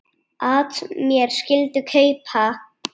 at mér skyldi kaupa